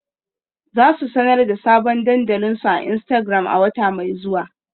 Za su sanar da sabon dandalin su a Instagram a wata mai zuwa.